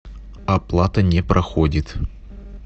оплата не проходит